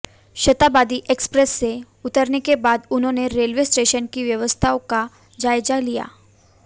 शताब्दी एक्सप्रेस से उतरने के बाद उन्होंने रेलवे स्टेशन की व्यवस्थाओं का जायजा लिया